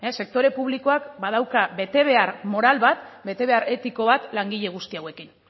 sektore publikoak badauka betebehar moral bat betebehar etiko bat langile guzti hauekin